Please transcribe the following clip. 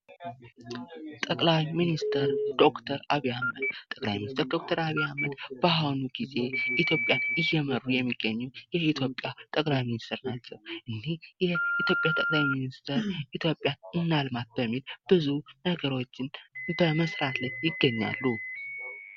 ጠቅላይ ሚኒስትር ዶክተር አብይ አህመድ፦ ጠቅላይ ሚኒስትር ዶክተር አብይ አህመድ በአሁኑ ጊዜ ኢትዮጵያን እየመሩ የሚገኙ የኢትዮጵያ ጠቅላይ ሚኒስትር ናቸው። ጠቅላይ ሚኒስትሩ ኢትዮጵያን እናልማት በሚል ብዙ ነገሮችን በመስራት ላይ ይገኛሉ።